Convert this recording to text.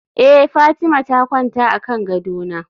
eh Fatima ta kwanta akan gadona